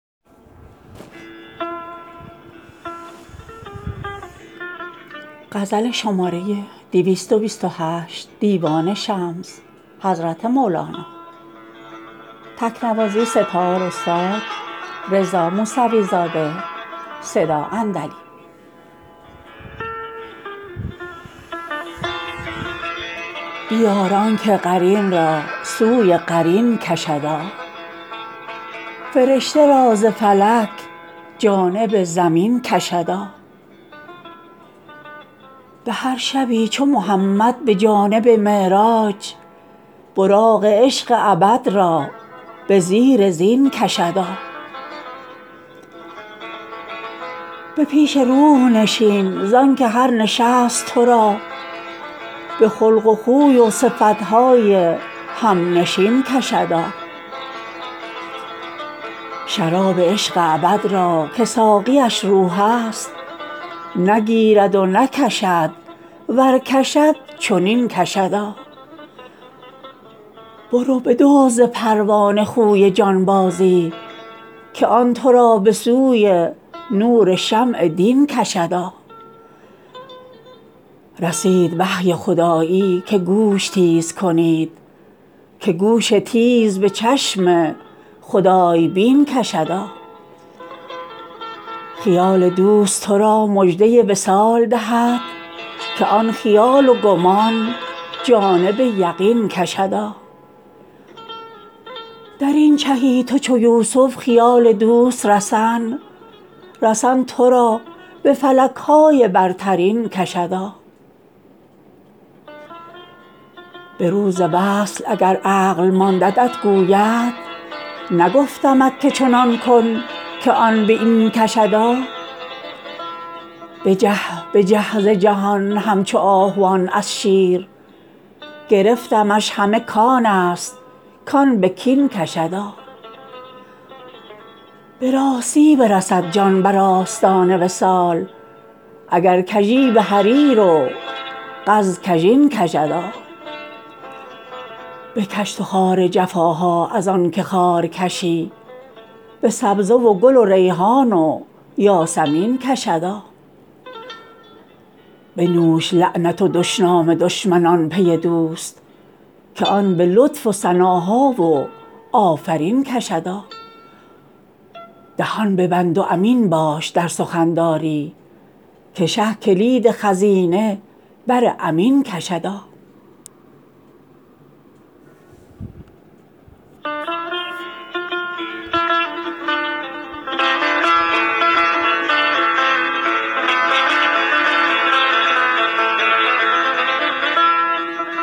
بیار آن که قرین را سوی قرین کشدا فرشته را ز فلک جانب زمین کشدا به هر شبی چو محمد به جانب معراج براق عشق ابد را به زیر زین کشدا به پیش روح نشین زان که هر نشست تو را به خلق و خوی و صفت های همنشین کشدا شراب عشق ابد را که ساقیش روح است نگیرد و نکشد ور کشد چنین کشدا برو بدزد ز پروانه خوی جانبازی که آن تو را به سوی نور شمع دین کشدا رسید وحی خدایی که گوش تیز کنید که گوش تیز به چشم خدای بین کشدا خیال دوست تو را مژده وصال دهد که آن خیال و گمان جانب یقین کشدا در این چهی تو چو یوسف خیال دوست رسن رسن تو را به فلک های برترین کشدا به روز وصل اگر عقل ماندت گوید نگفتمت که چنان کن که آن به این کشدا بجه بجه ز جهان همچو آهوان از شیر گرفتمش همه کان است کان به کین کشدا به راستی برسد جان بر آستان وصال اگر کژی به حریر و قز کژین کشدا بکش تو خار جفاها از آن که خارکشی به سبزه و گل و ریحان و یاسمین کشدا بنوش لعنت و دشنام دشمنان پی دوست که آن به لطف و ثناها و آفرین کشدا دهان ببند و امین باش در سخن داری که شه کلید خزینه بر امین کشدا